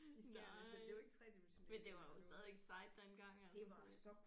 Nej men det var jo stadigvæk sejt dengang altså det